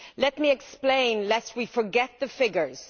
Let me explain, lest we forget the figures.